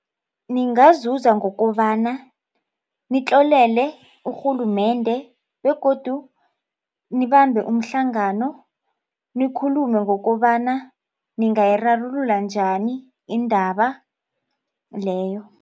Ningazuza ngokobana nitlolele urhulumende begodu nibambe umhlangano nikhulume ngokobana ningayirarulula njani indaba leyo.